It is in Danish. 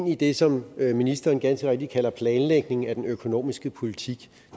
i det som ministeren ganske rigtigt kalder planlægningen af den økonomiske politik